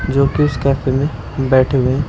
जो कि इस कैफ़े में बैठे हुए हैं।